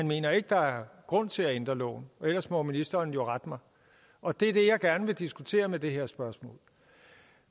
mener at der er grund til at ændre loven og ellers må ministeren jo rette mig og det er det jeg gerne vil diskutere med det her spørgsmål